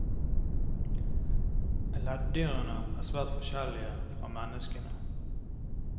Leddyrene er svært forskjellige fra menneskene.